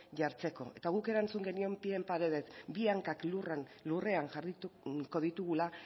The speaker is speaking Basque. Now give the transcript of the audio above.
jartzeko eta guk erantzun genion pie en pareden bi hankak lurrean jarriko ditugula